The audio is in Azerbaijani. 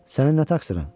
Sənin nə təqsirən?